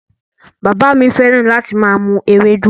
Bàbá mi fẹ́ràn láti máa mu Ewédú